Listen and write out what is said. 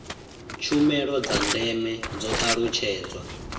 tshumelo dza ndeme dzo talutshedzwa